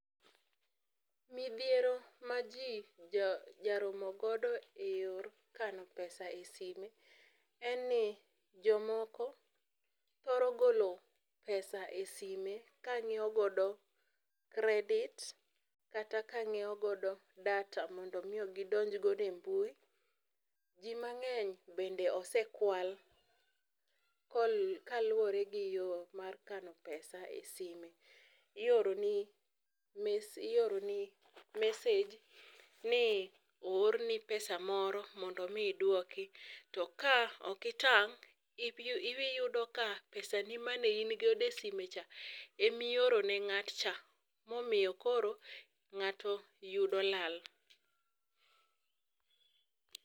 Midhiero ma jii jo jaromo godo e yor kano pesa e sime, en ni jomoko thoro golo pesa e sime kanyiewo godo credit kata ka nyiewo godo data mondo gidonj godo e mbui . Jii mangeny' bende osekwal kol kaluwore gi yoo mar kano pesa e sime. Ioroni ioroni message ni oorni pesa moro mondo mii iduoko. To ka ok itang', iyudo ka pesa ni mane in godo e sime cha e mioro ne ng'atcha , momiyo koro ng'ato yudo lala.